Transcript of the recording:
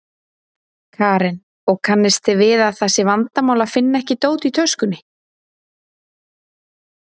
Karen: Og, kannist þið við að það sé vandamál að finna ekki dót í töskunni?